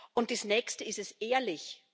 Und das nächste Ist es ehrlich?